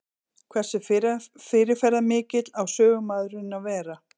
Hversu fyrirferðarmikill á sögumaðurinn að vera?